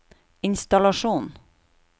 innstallasjon